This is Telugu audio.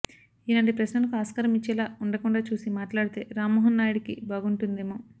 ఇలాంటి ప్రశ్నలకు ఆస్కారం ఇచ్చేలా ఉండకుండా చూసి మాట్లాడితే రామ్మోహన్ నాయుడికి బాగుంటుందేమో